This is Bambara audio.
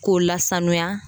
K'o lasanuya